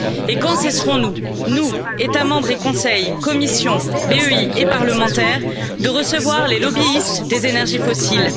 Et quand cesserons nous, nous États membres et Conseil, Commission, BEI et parlementaires, de recevoir les lobbyistes des énergies fossiles?